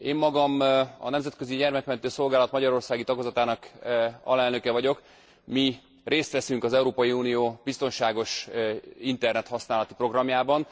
Én magam a Nemzetközi Gyermekmentő Szolgálat magyarországi tagozatának alelnöke vagyok, mi részt veszünk az Európai Unió biztonságos internethasználati programjában.